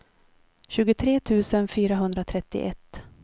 tjugotre tusen fyrahundratrettioett